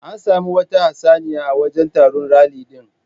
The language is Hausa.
An sami wata yar hatsaniya a wajan taron ralli din